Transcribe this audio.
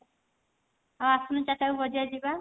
ଆଉ ଆସୁନୁ ଚାରିଟା ବେଳକୁ ବଜାର ଯିବା।